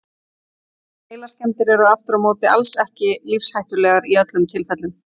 Heilaskemmdir eru aftur á móti alls ekki lífshættulegar í öllum tilfellum.